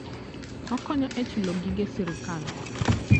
Okonyo e chulo gige sirkal.